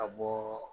Ka bɔ